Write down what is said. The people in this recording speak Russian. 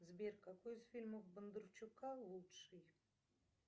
сбер какой из фильмов бондарчука лучший